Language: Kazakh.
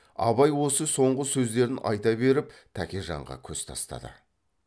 абай осы соңғы сөздерін айта беріп тәкежанға көз тастады